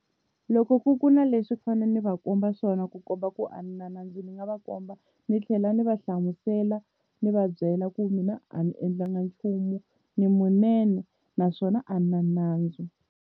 Loko ku ku na leswi a ni fane ni va komba swona ku komba ku a ni na nandzu ni nga va komba ni tlhela ni va hlamusela ni va byela ku mina a ni endlanga nchumu ni munene naswona a ni na nandzu.